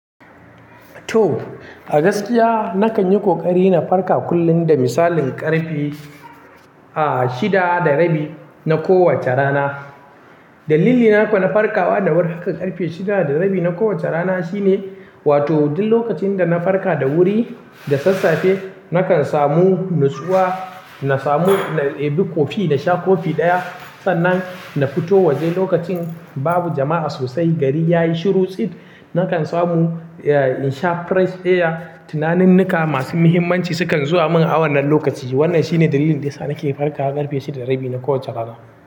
To, a gaskiya nakan yi ƙoƙari na farka kullum da misalin ƙarfe, a, shida da rabi na kowace rana. Dalilina ko na farkawa da wuri haka ƙarfe shida da rabi na kowace rana shine, wato duk lokacin da na farka da wuri da sassafe nakan samu natsuwa, na samu, na ebi kofi na sha kofi ɗaya. Sannan na fito waje lokacin babu jama'a sosai. Gari ya yi shiru tsit. Nakan samu, eh, in sha fresh air. Tunaninnika masu muhimmanci sukan zuwa min a wannan lokaci. Wannan shine dalilin da yasa nake farkawa ƙarfe shida da rabi na kowace rana.